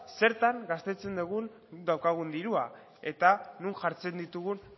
zertan gastatzen dugun daukagun dirua eta non jartzen ditugun